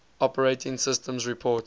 operating systems report